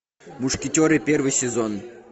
мушкетеры первый сезон